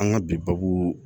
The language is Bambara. An ka bi babu